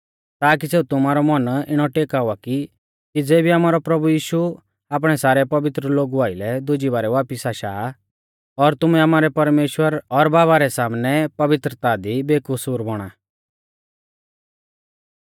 ताकि सेऊ तुमारौ मन इणौ टेकावा कि ज़ेबी आमारौ प्रभु यीशु आपणै सारै पवित्र लोगु आइलै दुजी बारै वापिस आशा और तुमै आमारै परमेश्‍वर और बाबा रै सामनै पवित्रता दी बेकसूर बौणा